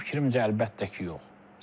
Mənim fikrimcə əlbəttə ki, yox.